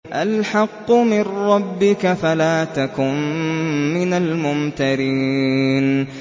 الْحَقُّ مِن رَّبِّكَ فَلَا تَكُن مِّنَ الْمُمْتَرِينَ